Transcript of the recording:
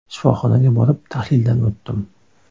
Shifoxonaga borib, tahlildan o‘tdim.